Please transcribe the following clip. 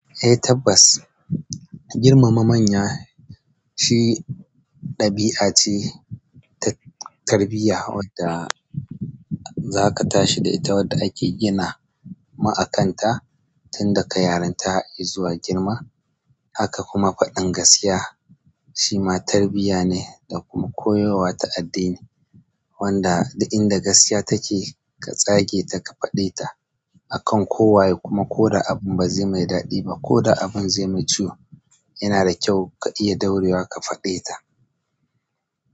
Eh tabbas, girmama manya shi ɗabi'a ce ta tarbiyya wadda za ka tashi da ita wadda ake gina mu akanta tun daga yaran ta izuwa girma. Haka kuma faɗin gaskiya shi ma tarbiyya ne da kuma koyarwa ta addini. Wanda duk inda gaskiya take ka tsage ta ka faɗe ta a kan kowaye. Kuma ko da abin ba zai mai daɗi ba ko da abin zai mai ciwo, yana da kyau ka iya daurewa ka faɗe ta.